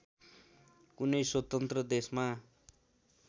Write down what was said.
कुनै स्वतन्त्र देशमा